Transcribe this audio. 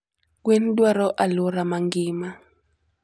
Gwen dwaro aluora mangima